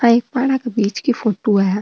आ एक पहाड़ा की बिच की फोटो है।